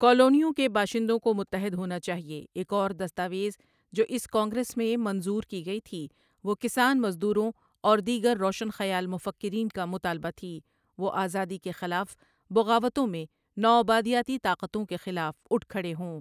کالونیوں کے باشندوں کو متحد ہونا چاہئے ایک اور دستاویز جو اس کانگریس میں منظور کی گئی تھی وہ کسان مزدوروں اور دیگر روشن خیال مفکرین کا مطالبہ تھی وہ آزادی کے خلاف بغاوتوں میں نوآبادیاتی طاقتوں کے خلاف اٹھ کھڑے ہوں۔